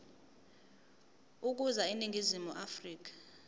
ukuza eningizimu afrika